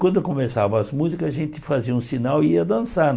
Quando começavam as músicas, a gente fazia um sinal e ia dançar.